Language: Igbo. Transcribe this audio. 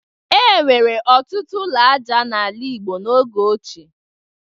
E nwere ọtụtụ ụlọ aja n'ala Igbo n'oge ochie.